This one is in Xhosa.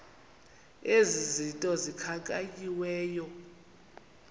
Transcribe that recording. ezi zinto zikhankanyiweyo